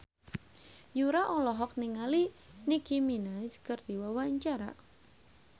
Yura olohok ningali Nicky Minaj keur diwawancara